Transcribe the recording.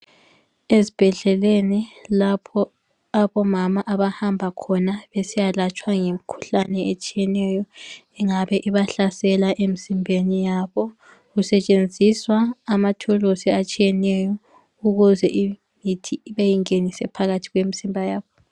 Ezbhedleleni lapho abomama abahamba khona besiyalatshwa ngemkhuhlane etshiyeneyo engabe ibahlasela emzimbeni yabo kusetshenziswa amathuluzi atshiyeneyo ukuze imithi beyingenise phakathi kwemizimba yabo.